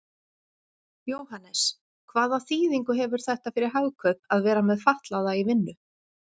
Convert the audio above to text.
Jóhannes: Hvaða þýðingu hefur þetta fyrir Hagkaup að vera með fatlaða í vinnu?